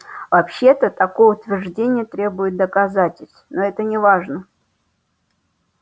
вообще-то такое утверждение требует доказательств но это неважно